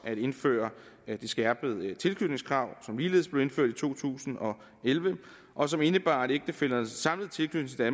at indføre det skærpede tilknytningskrav som ligeledes blev indført i to tusind og elleve og som indebar at ægtefællernes samlede tilknytning